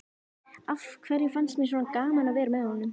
Af hverju fannst mér svona gaman að vera með honum?